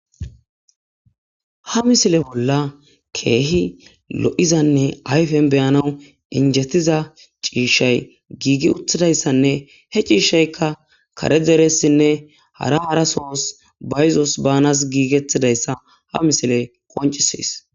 ha misile bolla keehi lo'izanne ayfen beyanawu injettiza ciishay giigi uthidayssanne he ciishaykka kare deressinne hara hara sohos bayzos banas giigetidayssa ha misiley qoncisis